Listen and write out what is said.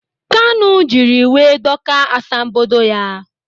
Kanụ jiri iwe dọkaa asambodo ya.